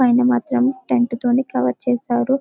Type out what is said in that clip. పైన మాత్రం టెంట్ తోనే కవర్ చేశారు .